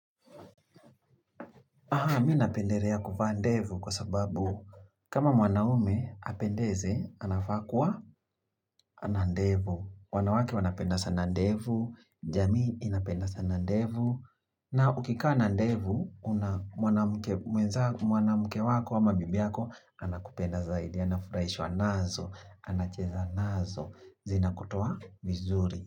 Aha, mi napenderea kuvaa ndevu kwa sababu kama mwanaume apendeze, anafaa kuwa ana ndevu. Wanawake wanapenda sana ndevu, jamii inapenda sana ndevu. Na ukikaa na ndevu, mwanamke wako ama bibi wako, anakupenda zaidi. Anafuraishwa nazo, anacheza nazo, zinakutoa vizuri.